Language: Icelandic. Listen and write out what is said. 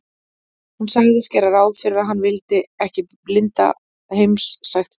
Hún sagðist gera ráð fyrir að hann vildi ekki að linda heimsækti þau.